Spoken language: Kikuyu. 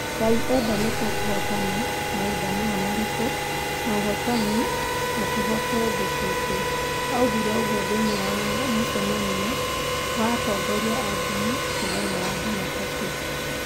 "Ngai enda nĩtukũhotana mahinda maya maritũ na ũhootani na tũhote thũ ciitũ" alisema katika mkutano na viongozi wa dini siku ya Jumatatu.